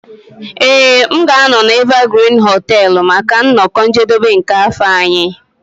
Ee m ga-anọ na Evergreen hoteelu maka nnọkọ njedebe nke afọ anyị.